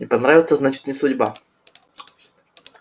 не понравится значит не судьба